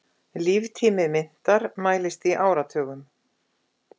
Líftími myntar mælist í áratugum.